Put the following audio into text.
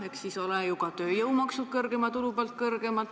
Eks siis ole ju ka tööjõumaksud suurema tulu pealt kõrgemad.